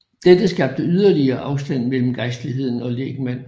Dette skabte yderligere afstand mellem gejstligheden og lægmand